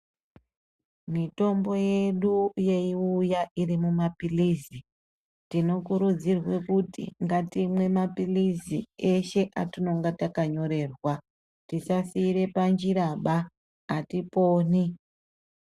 Mitombo yedu yeiuya iri mumaphilizi, tinokurudzirwe kuti ngatimwe maphilizi eshe atinonga takanyorerwa. Tisasiire panjiraba, atiponi.